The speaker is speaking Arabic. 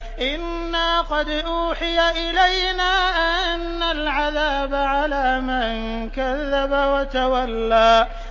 إِنَّا قَدْ أُوحِيَ إِلَيْنَا أَنَّ الْعَذَابَ عَلَىٰ مَن كَذَّبَ وَتَوَلَّىٰ